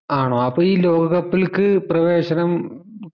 ആണോ അപ്പൊ ഈ ലോക cup ൽക്ക് പ്രവേശനം മ്